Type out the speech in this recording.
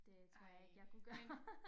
Det tror jeg ikke jeg kunne gøre